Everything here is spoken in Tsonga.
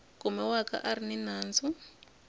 kumiwaka a ri ni nandzu